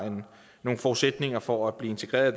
nogle forudsætninger for at blive integreret